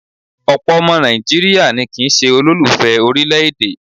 Ọ̀pọ̀ ọmọ Nàìjíríà ni kì ń ṣe olùfẹ orílẹ̀-èdè.